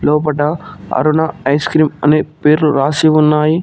లోపట Aruna ice cream అని పేర్లు రాసి ఉన్నాయి.